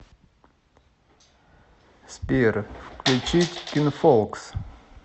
сбер включить кинфолкс